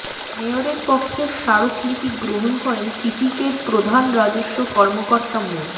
মেয়রের পক্ষে স্মারকলিপি গ্রহণ করেন সিসিকের প্রধান রাজস্ব কর্মকর্তা মো